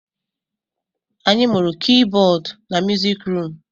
Anyị mụrụ Kibọd na musik rum